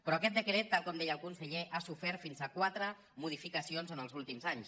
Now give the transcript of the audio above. però aquest decret tal com deia el conseller ha sofert fins a quatre modificacions en els últims anys